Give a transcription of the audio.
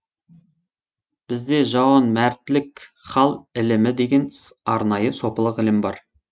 бізде жауанмәртлік хал ілімі деген арнайы сопылық ілім бар